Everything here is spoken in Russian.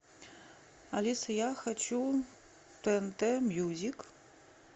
алиса я хочу тнт мьюзик